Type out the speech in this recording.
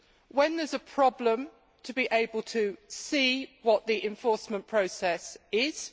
when there is a problem, to be able to see what the enforcement process is